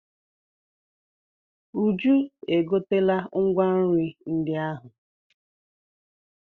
Uju e gotela ngwa nri ndị ahụ.